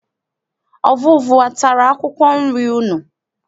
Ọvụvụ atara akwụkwọ nri unu?